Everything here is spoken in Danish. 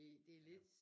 Det det lidt